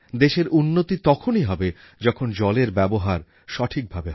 দেশের উন্নতি তখনই হবে যখন জলের ব্যবহার সঠিকভাবে হবে